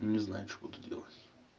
не знаю что буду делать